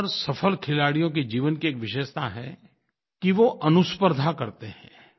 ज़्यादातर सफल खिलाड़ियों के जीवन की एक विशेषता है कि वो अनुस्पर्द्धा करते हैं